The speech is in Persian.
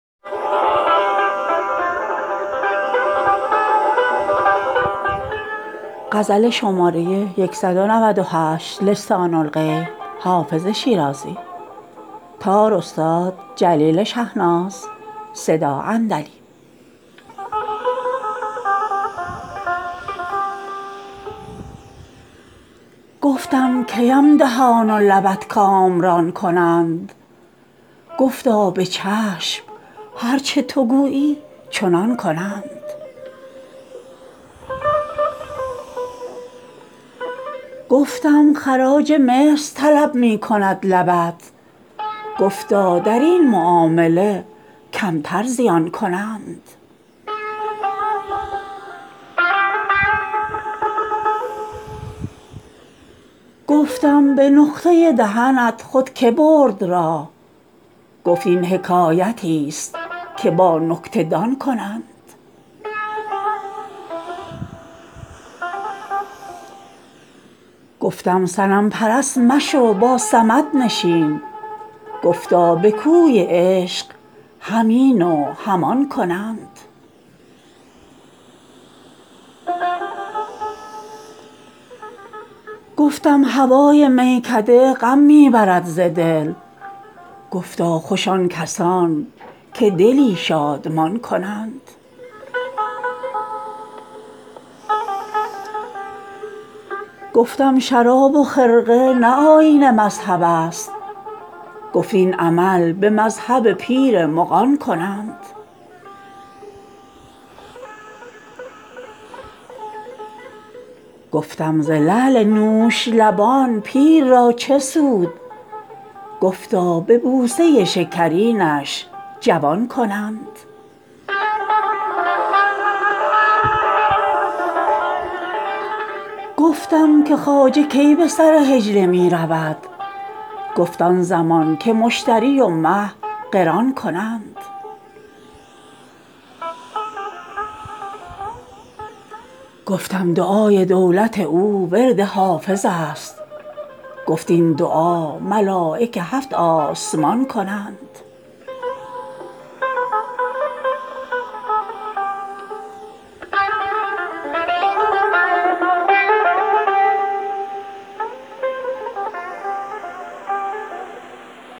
گفتم کی ام دهان و لبت کامران کنند گفتا به چشم هر چه تو گویی چنان کنند گفتم خراج مصر طلب می کند لبت گفتا در این معامله کمتر زیان کنند گفتم به نقطه دهنت خود که برد راه گفت این حکایتیست که با نکته دان کنند گفتم صنم پرست مشو با صمد نشین گفتا به کوی عشق هم این و هم آن کنند گفتم هوای میکده غم می برد ز دل گفتا خوش آن کسان که دلی شادمان کنند گفتم شراب و خرقه نه آیین مذهب است گفت این عمل به مذهب پیر مغان کنند گفتم ز لعل نوش لبان پیر را چه سود گفتا به بوسه شکرینش جوان کنند گفتم که خواجه کی به سر حجله می رود گفت آن زمان که مشتری و مه قران کنند گفتم دعای دولت او ورد حافظ است گفت این دعا ملایک هفت آسمان کنند